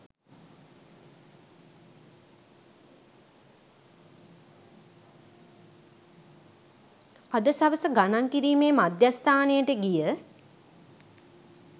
අද සවස ගණන් කිරීමේ මධ්‍යස්ථානයට ගිය